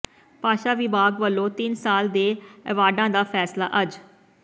ਭਾਸ਼ਾ ਵਿਭਾਗ ਵੱਲੋਂ ਤਿੰਨ ਸਾਲ ਦੇ ਅੇੈਵਾਰਡਾਂ ਦਾ ਫ਼ੈਸਲਾ ਅੱਜ